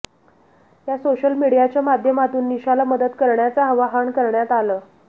या सोशल मीडियाच्या माध्यमातून निशाला मदत करण्याचं आवाहन करण्यात आलं